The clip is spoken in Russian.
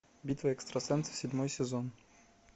битва экстрасенсов седьмой сезон